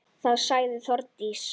Þá sagði Þórdís: